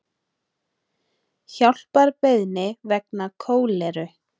Hjálparbeiðni vegna kóleru